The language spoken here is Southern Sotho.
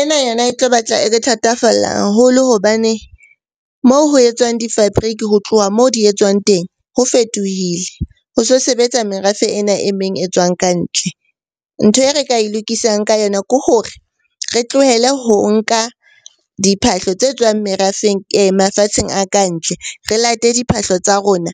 Ena yona e tlo batla e le thatafalla haholo hobane mo ho etswang di-fabric ho tloha moo di etswang teng ho fetohile. Ho so sebetsa merafe ena e meng e tswang ka ntle. Ntho e re ka e lokisang ka yona ke hore re tlohele ho nka diphahlo tse tswang merafeng mafatsheng a ka ntle, re late diphahlo tsa rona